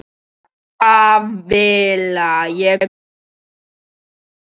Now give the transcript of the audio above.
Danival, ég kom með níutíu og fjórar húfur!